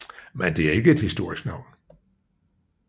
Men det er ikke et historisk navn